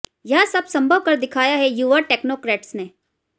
यह सब संभव कर दिखाया है युवा टेक्नोक्रेट्स ने